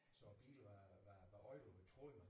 Så bilen var var var ødelagt troede man